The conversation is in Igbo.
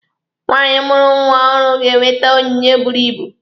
Nwaanyị mụrụ nwa ọhụrụ ga-enwete onyinye buru ibu.